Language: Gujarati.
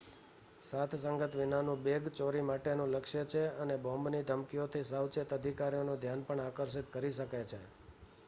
સાથસંગાત વિનાનું બેગ ચોરી માટેનું લક્ષ્ય છે અને બોમ્બની ધમકીઓથી સાવચેત અધિકારીઓનું ધ્યાન પણ આકર્ષિત કરી શકે છે